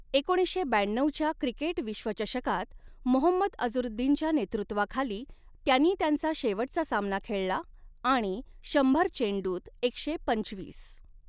एकोणीसशे ब्याण्णऊच्या क्रिकेट विश्वचषकात मोहम्मद अझहरुद्दीनच्या नेतृत्वाखाली त्यांनी त्यांचा शेवटचा सामना खेळला आणि शंभर चेंडूंत एकशे पंचवीस.